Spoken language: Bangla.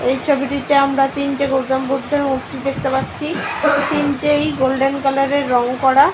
এই ছবিটিতে আমরা তিনটে গৌতম বুদ্ধ - এর মূর্তি দেখতে পাচ্ছি তিনটেয় গোল্ডেন কালার এর রং করা।